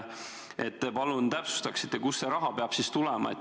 Palun täpsustage ikkagi, kust see raha peab siis tulema.